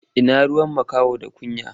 Ina ruwan makaho da kunya?